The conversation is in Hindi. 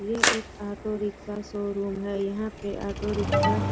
ये एक ऑटो रिक्शा शोरूम है यहाँ पे ऑटो रिक्शा --